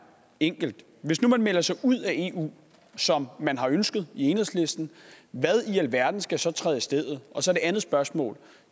enkelt hvis nu man melder sig ud af eu som man har ønsket i enhedslisten hvad i alverden skal så træde i stedet og så det andet spørgsmål